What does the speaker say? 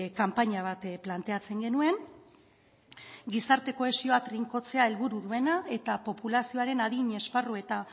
kanpaina bat planteatzen genuen gizarte kohesioa trinkotzea helburu duena eta populazioaren adin esparru eta